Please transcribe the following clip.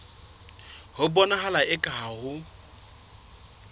ho bonahala eka ha ho